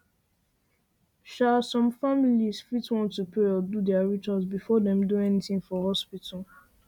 um some families fit want um want um to pray or do their rituals before dem do anything for hospital